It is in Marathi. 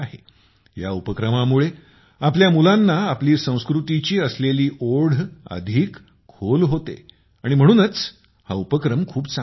या उपक्रमामुळे आपल्या मुलांना आपली संस्कृतीची असलेली ओढ अधिक गहिरी होते आणि म्हणूनच हा उपक्रम खूप चांगला आहे